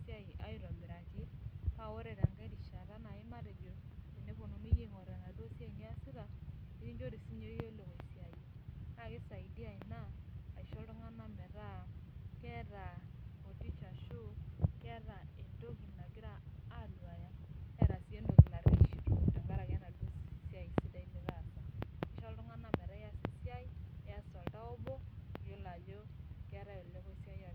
sidai paa ore pee ore peepionunui aingurai esia naa sidai ina amu itodolu ajo keeta entoki nagira aanyu tengaraki esiai sidai nataasa Ishaakino nias esiai sidai nias toltau obo iyiolo ajo keetae olekoisiayio naa kisaidia metaa kisho iltungana motisha amu keeta entoki nagira aanyu tengaki enadau siai sidai nitaasa